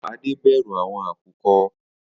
Ade bẹru awọn akukọ.